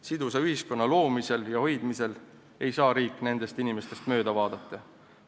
Sidusa ühiskonna loomisel ja hoidmisel ei saa riik nendest inimestest mööda vaadata.